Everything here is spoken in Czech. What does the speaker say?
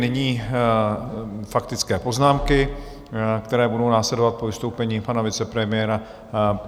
Nyní faktické poznámky, které budou následovat po vystoupení pana vicepremiéra.